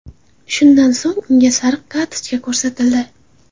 Shundan so‘ng unga sariq kartochka ko‘rsatildi.